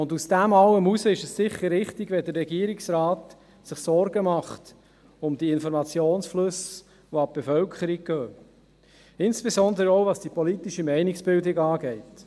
Aufgrund von alledem ist es sicher richtig, dass sich der Regierungsrat Sorgen macht über die Informationsflüsse, welche an die Bevölkerung gehen, insbesondere auch, was die politische Meinungsbildung anbelangt.